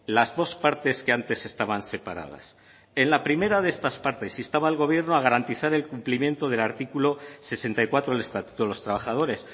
las dos partes que antes estaban separadas en la primera de estas partes instaba al gobierno a garantizar el cumplimiento del artículo sesenta y cuatro del estatuto de los trabajadores